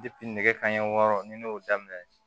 nɛgɛ kanɲɛ wɔɔrɔ ni ne y'o daminɛ